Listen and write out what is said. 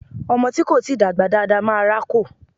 Ọmọ tí kò tíì dàgbà dáa dáa máa rákò.